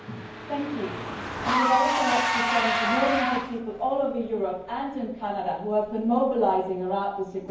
Madam President, I would like to thank the millions of people all over Europe and in Canada who have been mobilising around this agreement.